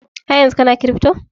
Haryanzun kana kiripto?